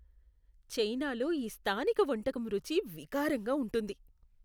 చైనాలో ఈ స్థానిక వంటకం రుచి వికారంగా ఉంటుంది.